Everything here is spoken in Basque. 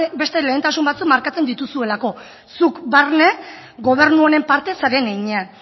beste lehentasun batzuk markatzen dituzuelako zuk barne gobernu honen parte zaren heinean